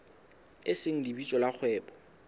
e seng lebitso la kgwebo